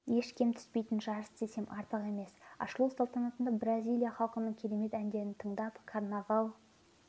еш кем түспейтін жарыс десем артық емес ашылу салтанатында бразилия халқының керемет әндерін тыңдап карнавал